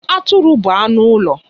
Atụrụ bụ anụ ụlọ.